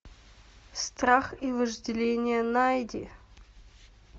страх и вожделение найди